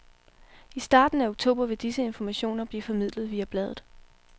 I starten af oktober vil disse informationer blive formidlet via bladet.